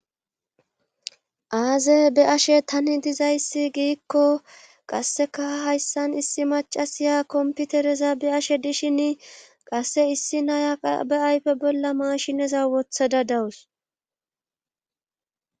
Aaze be ashe tani dizayssi giikko qasseka hayssan issi macasiya komputereza be ashe dishin qasse issi nayaqa be ayfe bolla maashineza wotha dadawus